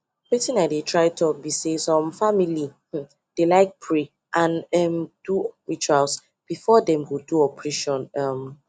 wetin i dey try talk be say some family um dey like pray and um do rituals before them go do operation um